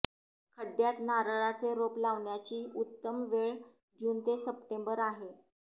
खड्ड्यात नारळाचे रोप लावण्याची उत्तम वेळ जून ते सप्टेंबर आहे